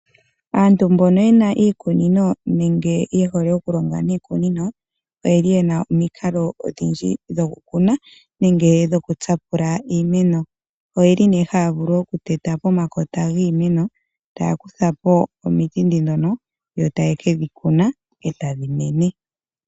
Aantu mbono ye na iikunino nenge ye hole okulonga niikunino oye na omikalo odhindji dhokukuna nenge dhokutsapula iimeno. Ohaya vulu oku teta pomakota giimeno e taya kutha po omiti ne ndhono yo taye kedhi tsika e tadhi mene.